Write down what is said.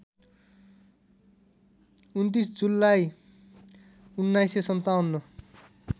२९ जुलाई १९५७